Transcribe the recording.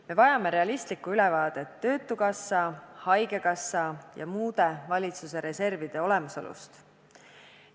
Me vajame realistlikku ülevaadet töötukassa, haigekassa ja muude valitsuse reservide olemasolust.